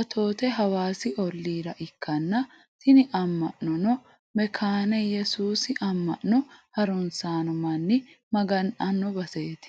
atoote hawaasi ollira ikkanna, tini amma'nono mekkaane iyesuusi amma'no harunsanno manni maga'nanno baseeti.